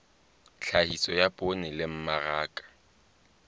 tlhahiso ya poone le mmaraka